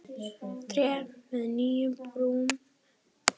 Tré með nýju brumi.